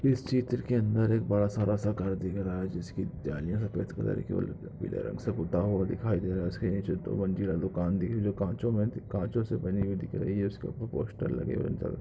इस चित्र के अंदर एक बड़ा सारा सा घर दिख रहा हैं जिसकी जालिया सफेद कलर की और पीले रंग से पूता हुआ दिखाई दे रहा हैं उसके निचे दो मंजिला दूकान दिख रही हैं काँचो मे- काँचो से बनी हुई दिख रही हैं उसके ऊपर पोस्टर लगे हुए हैं।